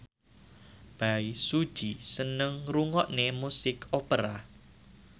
Bae Su Ji seneng ngrungokne musik opera